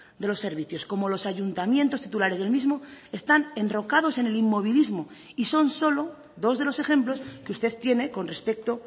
de los servicios como los ayuntamientos titulares del mismo están enrocados en el inmovilismo y son solo dos de los ejemplos que usted tiene con respecto